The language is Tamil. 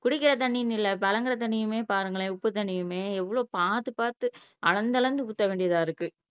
குடிக்கிற தண்ணின்னு இல்ல புழங்கற தண்ணியுமே பாருங்களேன் உப்பு தண்ணியுமே எவ்வளவு பார்த்து பார்த்து அளந்து அளந்து ஊத்த வேண்டியதா இருக்கு